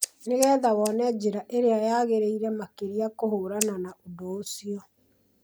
nĩgetha wone njĩra ĩrĩa yagĩrĩire makĩria kũhũrana na ũndũ ũcio